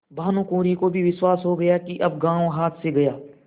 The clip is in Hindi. भानुकुँवरि को भी विश्वास हो गया कि अब गॉँव हाथ से गया